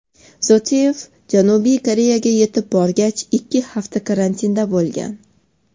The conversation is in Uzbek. Zoteyev Janubiy Koreya yetib borgach, ikki hafta karantinda bo‘lgan.